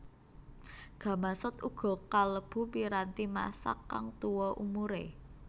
Gamasot uga kalebu piranti masak kang tuwa umuré